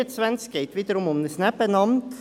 Es geht wiederum um ein Nebenamt.